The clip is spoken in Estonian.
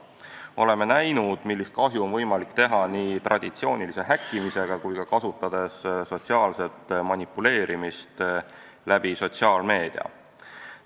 Me oleme näinud, millist kahju on võimalik teha nii traditsioonilise häkkimisega kui ka kasutades sotsiaalset manipuleerimist sotsiaalmeedia kaudu.